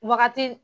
Wagati